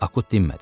Akut dinmədi.